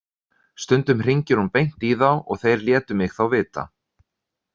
Stundum hringir hún beint í þá og þeir létu mig þá vita.